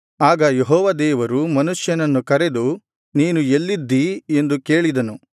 ಆಗ ಯೆಹೋವ ದೇವರು ಮನುಷ್ಯನನ್ನು ಕರೆದು ನೀನು ಎಲ್ಲಿದ್ದೀ ಎಂದು ಕೇಳಿದನು